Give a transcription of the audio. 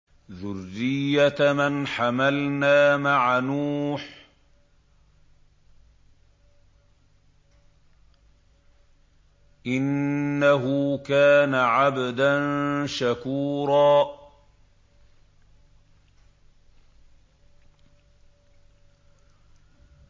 ذُرِّيَّةَ مَنْ حَمَلْنَا مَعَ نُوحٍ ۚ إِنَّهُ كَانَ عَبْدًا شَكُورًا